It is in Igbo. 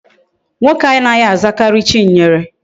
Nwoke anaghi azakari Chinyere